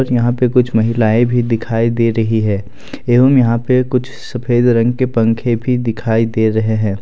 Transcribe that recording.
और यहां पे कुछ महिलाएं भी दिखाई दे रही है एवं यहां पे कुछ सफेद रंग के पंखे भी दिखाई दे रहे हैं।